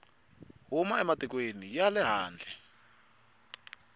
huma ematikweni ya le handle